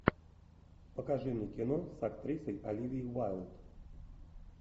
покажи мне кино с актрисой оливией уайлд